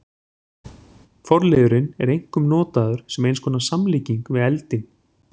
Forliðurinn er einkum notaður sem eins konar samlíking við eldinn.